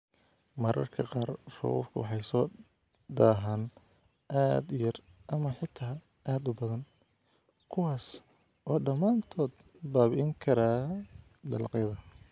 "Mararka qaar, roobabku waxay soo daahaan, aad u yar ama xitaa aad u badan, kuwaas oo dhamaantood baabi'in kara dalagyadayada."